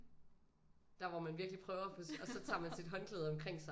Der hvor man virkelig prøver og så tager man sit håndklæde omkring sig